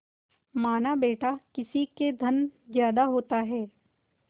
मानाबेटा किसी के धन ज्यादा होता है